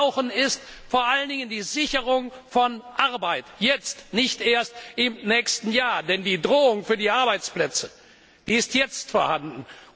Was wir brauchen, ist vor allen Dingen die Sicherung von Arbeit jetzt, nicht erst im nächsten Jahr, denn die Bedrohung für die Arbeitsplätze ist jetzt vorhanden.